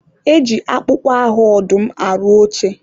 e ji akpụkpọ ahụ ọdụm arụ oche.